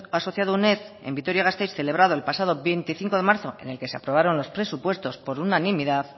asociado uned en vitoria gasteiz celebrado el pasado veinticinco de marzo en el que se aprobaron los presupuestos por unanimidad